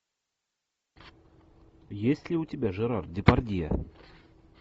есть ли у тебя жерар депардье